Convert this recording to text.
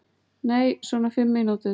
Nei, svona fimm mínútur.